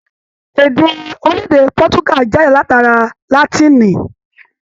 Èdè orilẹ-èdè Pọtuga jáde látara Látìnì.